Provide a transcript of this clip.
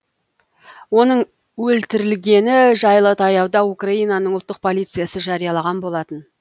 оның өлтірілгені жайлы таяуда украинаның ұлттық полициясы жариялаған болатын